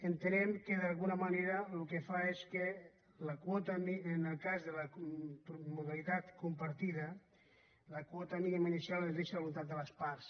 entenem que d’alguna manera el que fa és que en el cas de la modalitat compartida la quota mínima inicial es deixa a voluntat de les parts